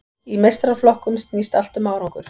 Í meistaraflokkum snýst allt um árangur.